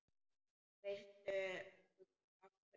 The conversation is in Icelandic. Veistu nokkuð af hverju?